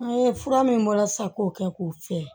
An ye fura min bɔra sa k'o kɛ k'o fiyɛ